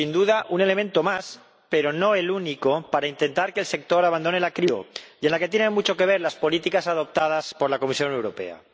Sin duda, un elemento más, pero no el único, para intentar que el sector abandone la crisis en que está sumido y en la que tienen mucho que ver las políticas adoptadas por la Comisión Europea.